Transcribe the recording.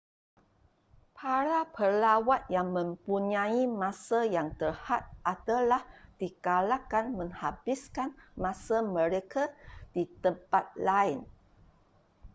para pelawat yang mempunyai masa yang terhad adalah digalakkan menghabiskan masa mereka di tempat lain